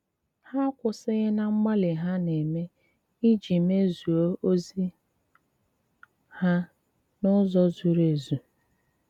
Hà akwụ̀sìghị̀ ná mgbálì hà na-ème ìjì mèzùó òzì hà n’ụ̀zọ̀ zùrù èzù.